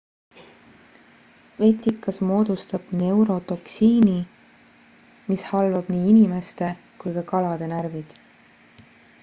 vetikas moodustab neurotoksiini mis halvab nii inimeste kui ka kalade närvid